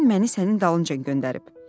Nənən məni sənin dalınca göndərib.